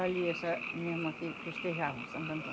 Ali, essa minha irmã que festejavam Santo Antônio.